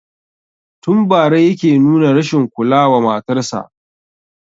Tun bara yake nuna rashin kula wa matarsa